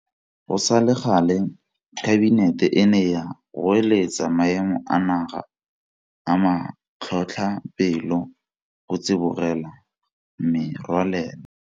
Go sa le gale Kabinete e ne ya goeletsa Maemo a Naga a Matlhotlhapelo go tsibogela merwalela.